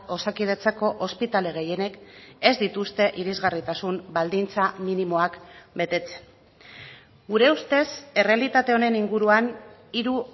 osakidetzako ospitale gehienek ez dituzte irisgarritasun baldintza minimoak betetzen gure ustez errealitate honen inguruan hiru